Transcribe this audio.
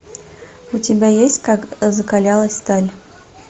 у тебя есть как закалялась сталь